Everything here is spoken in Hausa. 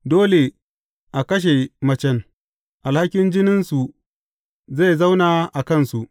Dole a kashe shi da macen, alhakin jininsu zai zauna a kansu.